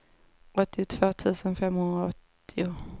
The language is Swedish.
åttiotvå tusen femhundraåttio